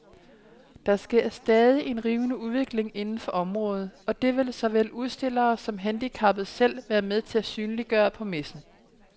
Der sker stadig en rivende udvikling inden for området, og det vil såvel udstillere som handicappede selv være med til at synliggøre på messen.